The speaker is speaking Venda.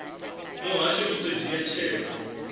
muhasho u ḓo dzhia tsheo